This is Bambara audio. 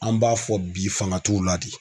An b'a fɔ bi fanga t'u la de.